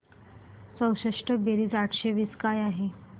चौसष्ट बेरीज आठशे वीस काय आहे